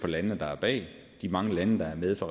landene der er bag de mange lande der er med fra